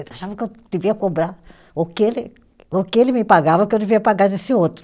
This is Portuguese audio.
Ele achava que eu devia cobrar o que ele, o que ele me pagava, o que eu devia pagar desse outro.